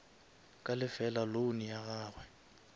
ka lefela loan ya gagwe